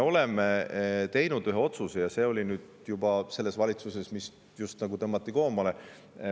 Me tegime ühe otsuse juba selles valitsuses, mis just koomale tõmmati.